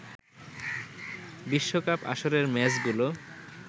বিশ্বকাপ আসরের ম্যাচগুলো